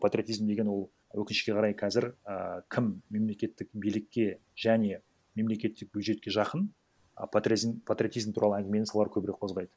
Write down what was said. патриотизм деген ол өкінішке қарай қазір і кім мемлекеттік билікке және мемлекеттік бюджетке жақын і патриотизм туралы әңгімені солар көбірек қозғайды